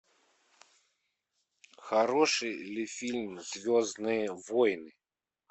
хороший ли фильм звездные войны